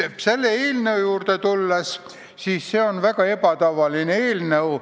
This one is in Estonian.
See eelnõu aga on väga ebatavaline eelnõu.